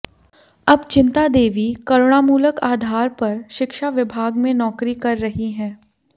अब चिंता देवी करुणामूलक आधार पर शिक्षा विभाग में नौकरी कर रही हैं